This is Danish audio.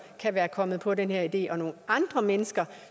kan være kommet på den her idé og at nogle andre mennesker